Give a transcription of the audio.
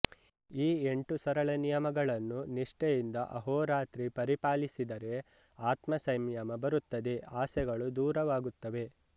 ಈ ಎಂಟು ಸರಳ ನಿಯಮಗಳನ್ನು ನಿಷ್ಠೆಯಿಂದ ಅಹೋರಾತ್ರಿ ಪರಿಪಾಲಿಸಿದರೆ ಆತ್ಮಸಂಯಮ ಬರುತ್ತದೆ ಆಸೆಗಳು ದೂರವಾಗುತ್ತವೆ